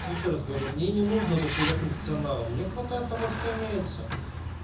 мы ещё раз говорим мне не нужно дохуя функционала мне хватает того что имеется